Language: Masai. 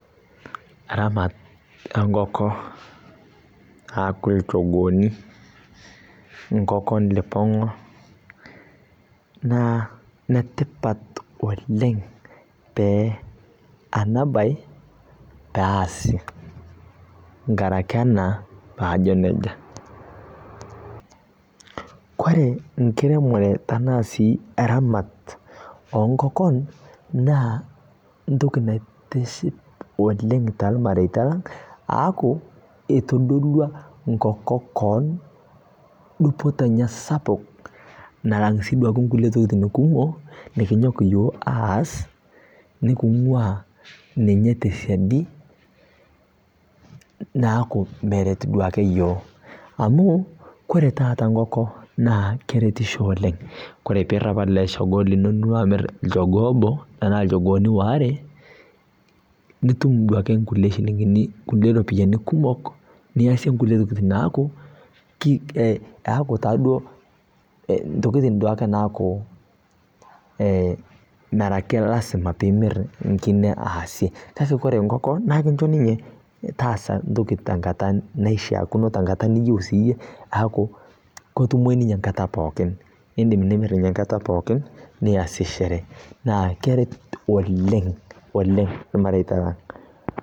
Aramat enkoko, aaku ilchogooni, inkokon lipong'a naa netipat oleng' te, ena bae pee aasip nkaraki ena paajo neija. Ore enkiremore enaa sii eramat oo nkokon naa entoki naitiship oleng' taalmareita lang' aaku eitodolwa enkoko koon dupoto enye sapuk nalang' sii duake nkulie tokiting' kumok nekinyok iyiok aas neking'waa ninye tesiadi naaku meret duake iyiok amu ore taata enkoko naa keretisho oleng'. Kore pirrap ele shogoo lino duo amirr olchogoo obo enaa ilchogooni waare, nitum duake nkulie shilingini kulie ropiyiani kumok niyasie nkulie tokiting neeku eaku taaduo ntokiting duake naaku merake lazima piimirr enkine aasie. Ore enkoko naa kincho ninye taasa entoki tenkata naishiakino, tenkata niyieu siiyie aaku ketumoyu ninye enkata pookin niindim nimirr ninye enkata pookin ashu sii iasie sherehe neaku keret oleng' irmareita lang'